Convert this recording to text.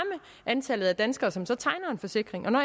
antallet af danskere som så tegner en forsikring og når